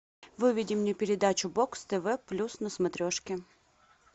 выведи мне передачу бокс тв плюс на смотрешке